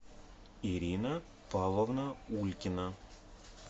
ирина павловна улькина